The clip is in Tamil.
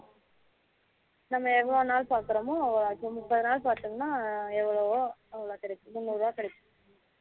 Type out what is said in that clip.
நம்ம எவ்வளோ நாள் பாக்குரோமோ அவ்வளோ இப்போ முப்பது நாள் பாக்குரோமோ எவ்வளவோ அவளோ கேடைக்கும் முன்னூறு ரூபாய் கேடைக்கும்